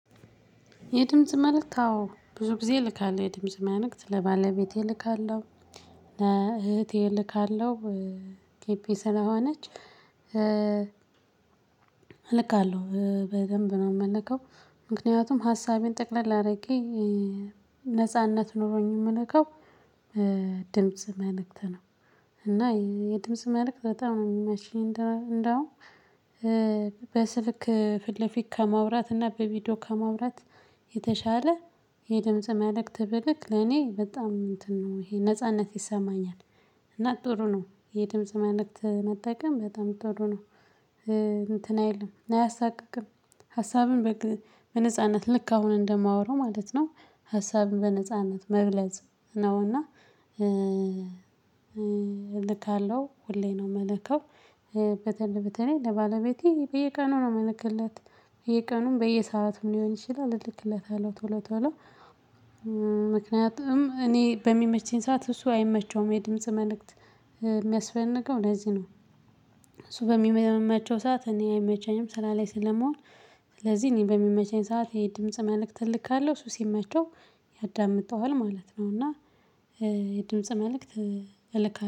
የድምጽ መልእክት አዎ ብዙ ጊዜ ይልካል የድምጽ ማንነት ለባለቤቴ እልካለሁ ለእህቴ እልካለሁ ቴፔ ስላሆነች እልካለሁ። በደንብ ነው የምንልከው ምክንያቱም ሀሳቤን ጠቅለል አድርጌ ነጻነት ኖሮኝ የምንከው ድምጽ መልእክት ነው። እና የድምጽ መልእክት በጣም ነው የሚመቸኝ እንደውም። በስልክ ፊት ለፊት ከመውራት እና በቪዲዮ ከመውራት የተሻለ የድምጽ መልእክት ብልክ ለኔ በጣም እንትን ነው ይሄ ነጻነት ይሰማኛል። እና ጥሩ ነው የድምጽ መልእክት መጠቀም በጣም ጥሩ ነው። እንትን የለም አያሳቅቅም ሀሳብን በነጻነት ልክ አሁን እንደማወራው ማለት ነው። ሀሳብን በነጻነት መግለጽ ነውና። እልካለሁ ሁሌ ነው እምልከው። ለባለቤቴ በየቀኑ ነው የምልክለት በየቀኑም በየሰአቱም ሊሆን ይችላል እልክለታለሁ ቶሎ ቶሎ። ምክንያቱም እኔ በሚመችኝ ሰዓት እሱ አይመቸውም የድምጽ መልእክት የሚያስፈልገው ለዚህ ነው። እሱ በሚመመቸው ሰዓት እኔ አይመቻኝም ስራ ላይ ስለመሆን። ስለዚህ እኔ በሚመቸኝ ሰዓት የድምጽ መልእክት ትልካለሁ ሱሲም መቼው ያዳምጠዋል ማለት ነው። እና የድምጽ መልእክት እልካለሁ